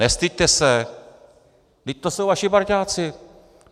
Nestyďte se, vždyť to jsou vaši parťáci!